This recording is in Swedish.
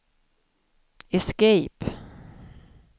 escape